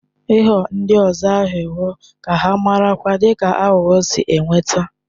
Ịghọ ndị ọzọ aghụghọ ka amarakwa dị ka aghụghọ si enweta.